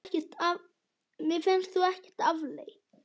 Mér fannst þú ekkert afleit!